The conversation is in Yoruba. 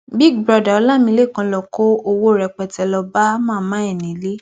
big brother ọlámilekan ló kó owó rẹpẹtẹ lọọ bá màmá ẹ nílé